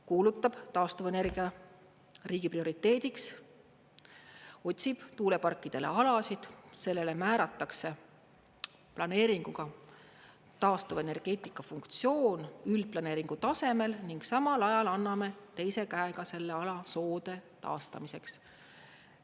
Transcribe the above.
Kuulutab taastuvenergia riigi prioriteediks, otsib tuuleparkidele alasid, sellele määratakse planeeringuga taastuvenergeetika funktsioon üldplaneeringu tasemel ning samal ajal anname teise käega selle ala soode taastamiseks.